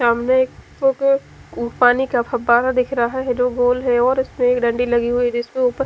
सामने एक पानी का फवारा दिख रहा है जो गोल है और उसमे एक डंडी लगी हुई है जीसके ऊपर --